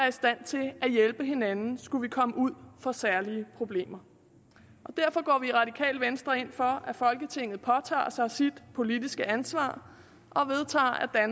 i stand til at hjælpe hinanden skulle vi komme ud for særlige problemer derfor går vi i radikale venstre ind for at folketinget påtager sig sit politiske ansvar og vedtager at